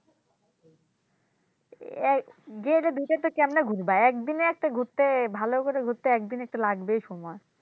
আহ যেয়ে দুই জায়গাটা কেম্নে ঘুরবা এক দিনে একটা ঘুরতে ভালো করে ঘুরতে একদিনে একটা লাগবেই সময়।